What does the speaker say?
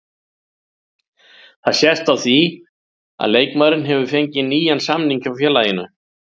Það sést á því að leikmaðurinn hefur fengið nýjan samning hjá félaginu.